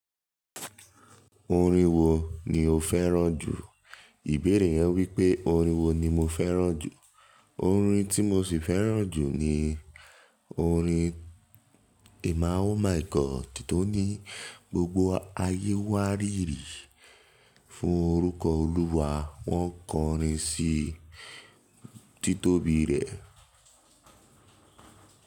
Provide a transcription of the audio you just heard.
Orin wo ni o fẹ́ràn jù? Ìbéèrè yẹn wípé orin wo ni mo fẹ́ràn jù. Orin tí mo sì fẹ́ràn jù ni orin Emma Oh my God, tó ní: "Gbogbo ayé wárìrì fún orúkọ Olúwa, wọ́n kọrin sí títóbi rẹ̀."